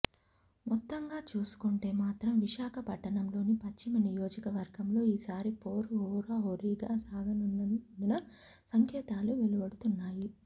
మొత్తంగా చూసుకుంటే మాత్రం విశాఖ పట్టణంలోని పశ్చిమ నియోజకవర్గంలో ఈసారి పోరు హోరాహోరీగా సాగనుందన్న సంకేతాలు వెలువడుతున్నాయి